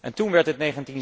En toen werd het